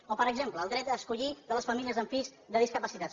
o per exemple el dret a escollir de les famílies amb fills discapacitats